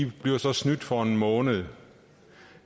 bliver snydt for en måned